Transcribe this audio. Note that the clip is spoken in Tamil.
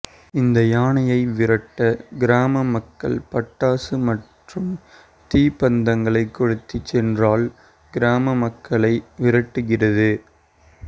இந்த யானையை விரட்ட கிராம மக்கள் பட்டாசு மற்றும் தீ பந்தங்களை கொளுத்தி சென்றால் கிராம மக்களை விரட்டுகிறது